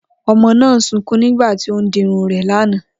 O̩mo̩ náà ń sunkún nígbà tí ó ń dirun rè̩ lánàá